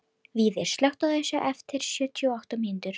Víðir, slökktu á þessu eftir sjötíu og átta mínútur.